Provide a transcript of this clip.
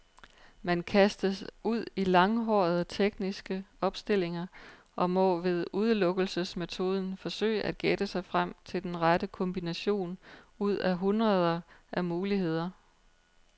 Man kastes ud i langhårede tekniske opstillinger, og må ved udelukkelsesmetoden forsøge at gætte sig frem til den rette kombination ud af hundreder af muligheder.